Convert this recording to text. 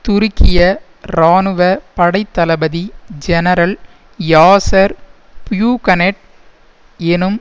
துருக்கிய இராணுவ படைத்தளபதி ஜெனரல் யாசர் புயூகனெட் எனும்